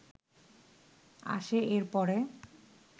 আসে এর পরে